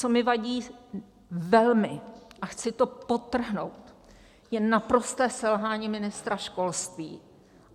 Co mi vadí velmi, a chci to podtrhnout, je naprosté selhání ministra školství.